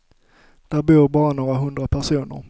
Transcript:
Där bor bara några hundra personer.